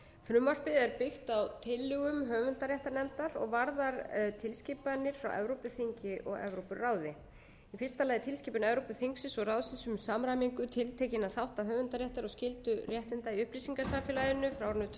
frumvarpið er byggt á lögum höfundaréttarnefndar og varðar tilskipanir frá evrópuþingi og evrópuráði í fyrsta lagi tilskipun evrópuþingsins og ráðsins um samræmingu tiltekinna þátta höfundaréttar og skyldra réttinda í upplýsingasamfélaginu frá árinu tvö þúsund og eitt